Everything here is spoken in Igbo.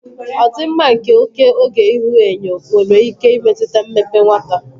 Ọdịmma nke oke oge ihuenyo nwere ike imetụta mmepe nwata.